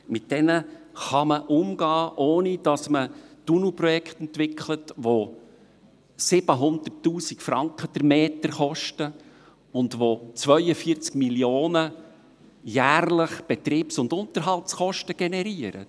Mit diesen kann man umgehen, ohne dass man Tunnelprojekte entwickelt, die 700 000 Franken pro Meter kosten und die jährlich 42 Mio. Franken an Betriebs- und Unterhaltskosten generieren.